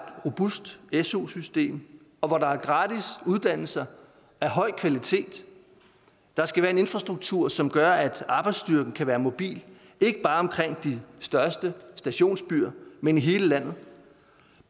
robust su system og hvor der er gratis uddannelser af høj kvalitet der skal være en infrastruktur som gør at arbejdsstyrken kan være mobil ikke bare omkring de største stationsbyer men i hele landet